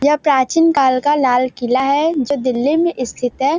यह प्राचीन काल का लाल किला है जो दिल्ली में स्थित है।